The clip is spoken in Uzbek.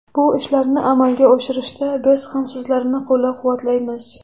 Bu ishlarni amalga oshirishda biz ham sizlarni qo‘llab-quvvatlaymiz.